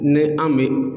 Ni an bɛ